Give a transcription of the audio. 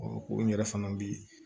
ko n yɛrɛ fana bɛ